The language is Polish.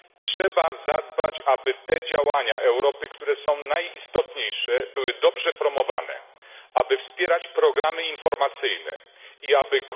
Trzeba zadbać o to, aby te działania Europy, które są najistotniejsze, były dobrze promowane, aby wspierać programy informacyjne i aby